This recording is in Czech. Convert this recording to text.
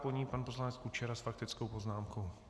Po ní pan poslanec Kučera s faktickou poznámkou.